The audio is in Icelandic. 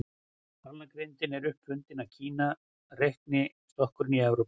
Talnagrindin er upp fundin í Kína, reiknistokkurinn í Evrópu.